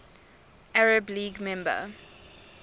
arab league member